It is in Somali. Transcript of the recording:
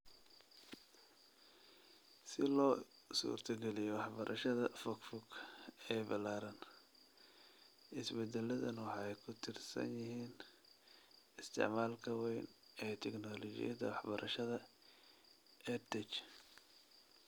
Si loo suurtogeliyo waxbarashada fog fog ee ballaaran, isbeddelladan waxay ku tiirsan yihiin isticmaalka weyn ee tignoolajiyada waxbarashada (EdTech) .